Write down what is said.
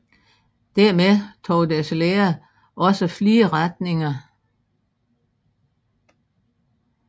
Dermed tog deres lære også flere retninger